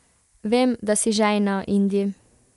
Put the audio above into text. Vem, da si žejna, Indi.